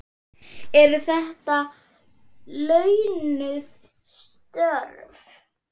Eru þetta launuð störf?